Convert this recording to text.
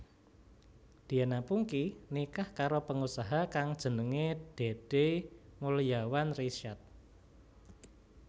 Diana Pungky nikah karo pengusaha kang jenengé Dedey Mulyawan Risyad